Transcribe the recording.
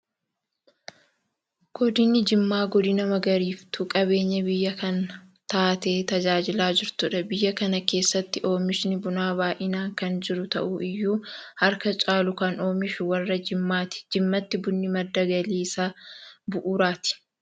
Godinni jimmaa godina magariisoftuu qabeenya biyya kanaa taatee tajaajilaa jirtudha. Biyya kana keessatti oomishni Bunaa baay'inaan kan jiru ta'u iyyuu harka caalu kan oomishu warra jimmaati. Jimmatti bunni madda galii isa bu'uuraati.